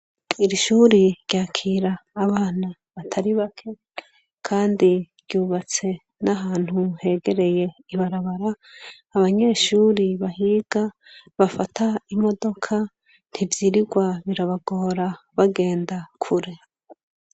Iri shuri ryakira abana batari bake, Kandi ryubatse n’ahantu hegereye ibarabara, abanyeshuri bahiga , bafata imodoka, ntivyirigwa birabagora bagenda Kure.